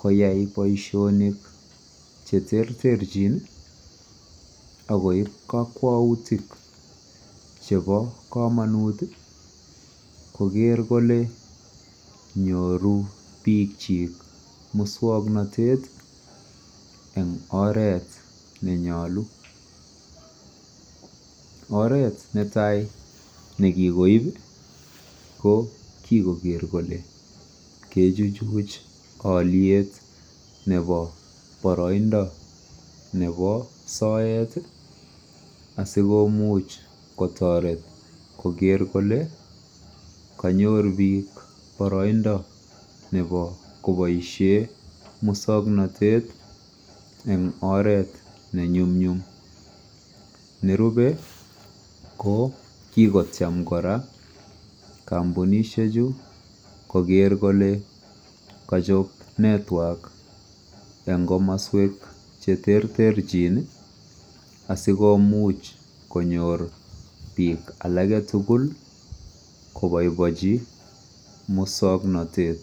koyaai boishonik cheterterchin agoib kokwoutik chebo komonuut iih kogeer kole nyoru biik chiik muswognotet en oreet nenyolu, oret netaai negigoib ko kigogeer kolengechich buch olyeet nebo boroindo nebo soet iih asigomuuch kotoret kogeer kole kanyoor biik boroindo nebo koboishen muswognotet en oreet nenyumnyum, nerube ko kigocham koraa kompunishek chu koger kole kochob network en komosweek cheterter chin iih asigimuch konoor biik alage tuguul koboiboichi muswoknotet.